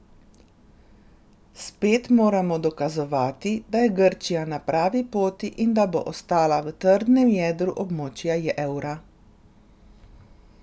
Spet moramo dokazovati, da je Grčija na pravi poti in da bo ostala v trdem jedru območja evra.